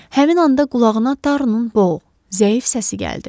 Həmin anda qulağına Tarunun boğuq, zəif səsi gəldi.